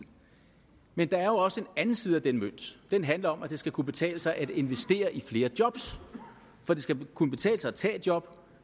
men der er jo også en anden side af den mønt og den handler om at det skal kunne betale sig at investere i flere jobs for det skal kunne betale sig at tage et job